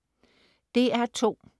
DR2: